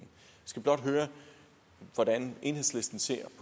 skal blot høre hvordan enhedslisten ser